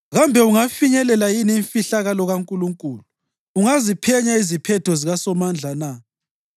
Kambe ungayifinyelela yini imfihlakalo kaNkulunkulu? Ungaziphenya iziphetho zikaSomandla na?